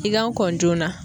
I ka kɔn joona